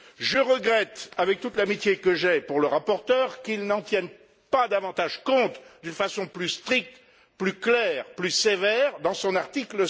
Je regrette, avec toute l'amitié que j'ai pour le rapporteur, qu'il n'en tienne pas davantage compte d'une façon plus stricte, plus claire, plus sévère dans son article